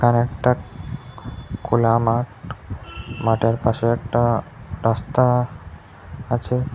একটা খ খোলা মাঠ মাঠের পাশে একটা রাস্তা আছে।